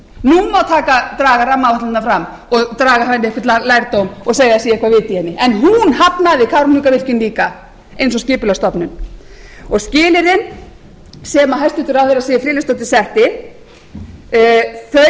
nú má draga rammaáætlunina fram og draga af henni einhvern lærdóm og segja að það sé eitthvert vit í henni en hún hafnaði kárahnjúkavirkjun líka eins og skipulagsstofnun skilyrðin sem hæstvirtur ráðherra siv friðleifsdóttir